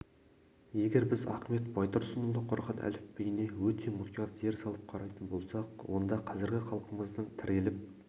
егер біз ахмет байтұрсынұлы құрған әліпбиіне өте мұқият зер салып қарайтын болсақ онда қазіргі халқымыздың тіреліп